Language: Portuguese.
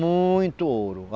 Muito ouro!